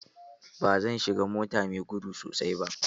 Ba zan shiga mota mai gudu sosai ba.